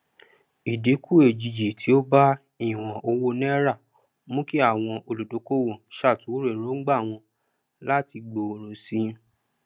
ìdínkù òjijì tí ó bá ìwọn owó naira mú kí àwọn olùdókòwò ṣàtúnrò èróngbà wọn láti gbòòrò sí i